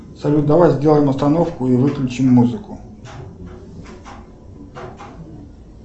салют давай сделаем остановку и выключим музыку